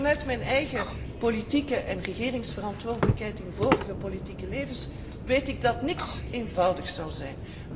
Vanuit mijn eigen politieke en regeringsverantwoordelijkheid in vorige politieke levens weet ik dat niets eenvoudig zal zijn.